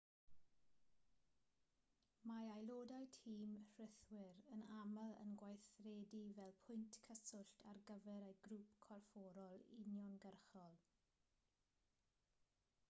mae aelodau tîm rhithwir yn aml yn gweithredu fel pwynt cyswllt ar gyfer eu grŵp corfforol uniongyrchol